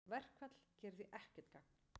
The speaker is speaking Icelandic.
Verkfall gerir því ekkert gagn